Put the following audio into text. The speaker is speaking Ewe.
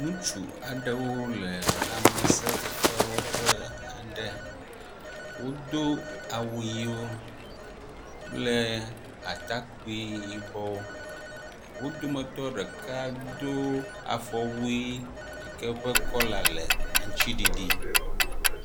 Ŋutsu aɖewo le lãmesefefe wɔƒe aɖe. Wodo awu ʋiwo kple atakpi yibɔ. Wo dometɔ ɖeka do afɔwui yi ke ƒe kɔla le aŋtsiɖiɖi.